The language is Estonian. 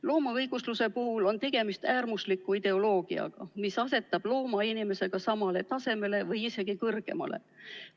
Loomaõigusluse puhul on tegemist äärmusliku ideoloogiaga, mis asetab looma inimesega samale tasemele või isegi kõrgemale.